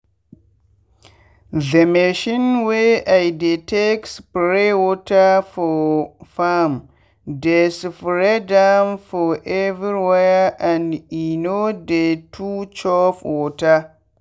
the machine wey i dey take spray water for farmdey spread am for everywhere and e no dey too chop water.